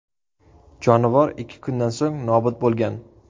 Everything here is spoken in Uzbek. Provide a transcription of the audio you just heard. Jonivor ikki kundan so‘ng nobud bo‘lgan.